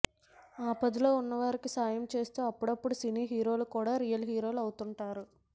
ఆపదలో ఉన్నవారికి సాయం చేస్తూ అప్పుడప్పుడు సినీ హీరోలు కూడా రియల్ హీరోలు అవుతుంటారు